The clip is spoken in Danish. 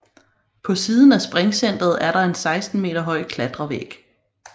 På siden af springcenteret er der en 16 meter høj klatrevæg